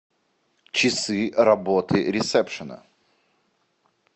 часы работы ресепшена